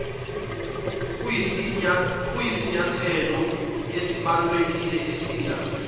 kuyisinyathelo esibalulekile esiya